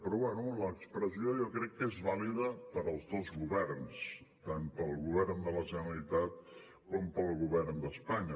però bé l’expressió jo crec que és vàlida per als dos governs tant per al govern de la generalitat com per al govern d’espanya